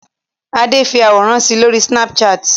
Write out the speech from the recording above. Adé fi àwòrán si lórí Snapchat?